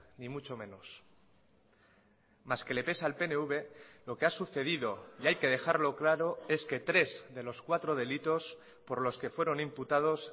ni mucho menos más que le pese al pnv lo que ha sucedido y hay que dejarlo claro es que tres de los cuatro delitos por los que fueron imputados